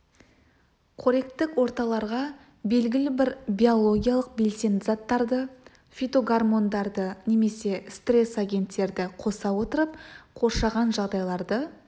қоректік орталарға белгілі бір биологиялық белсенді заттарды фитогормондарды немесе стресс агенттерді қоса отырып қоршаған жағдайларды